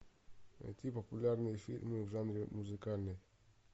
найти популярные фильмы в жанре музыкальный